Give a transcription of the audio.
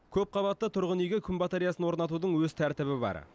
көпқабатты тұрғын үйге күн батареясын орнатудың өз тәртібі бар